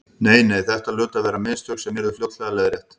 Nei, nei, þetta hlutu að vera mistök sem yrðu fljótlega leiðrétt.